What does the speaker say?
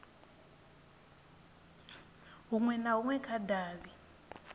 hunwe na hunwe kha davhi